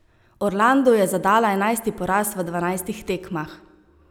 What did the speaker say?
Orlandu je zadala enajsti poraz v dvanajstih tekmah.